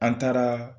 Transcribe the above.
An taara